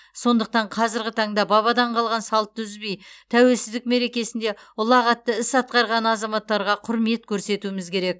сондықтан қазіргі таңда бабадан қалған салтты үзбей тәуелсіздік мерекесінде ұлағатты іс атқарған азаматтарға құрмет көрсетуіміз керек